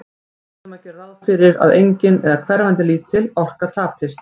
Við verðum að gera ráð fyrir að engin, eða hverfandi lítil, orka tapist.